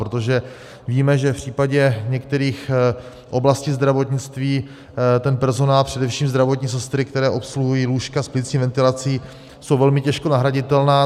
Protože víme, že v případě některých oblastí zdravotnictví ten personál, především zdravotní sestry, které obsluhují lůžka s plicní ventilací, jsou velmi těžko nahraditelné.